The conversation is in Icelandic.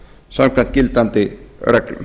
samkvæmt gildandi reglum